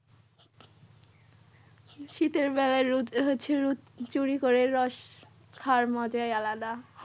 শীতের বেলা রোদ্রে হচ্ছে রোজ চুরি করে রস খাওয়ার মজাই আলাদা।